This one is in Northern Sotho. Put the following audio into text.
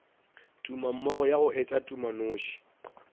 tumammogo ya go etša tumanoši